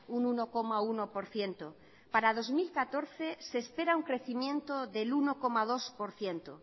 un uno coma uno por ciento para dos mil catorce se espera un crecimiento del uno coma dos por ciento